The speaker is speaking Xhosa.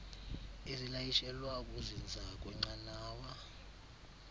ezilayishelwa ukuzinza kwenqanawa